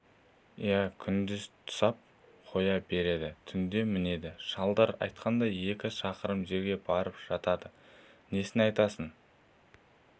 иә күндіз тұсап қоя береді түнде мінеді шалдар айтқандай екі шақырым жерге барып жатады несін айтасың